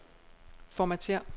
Formatér.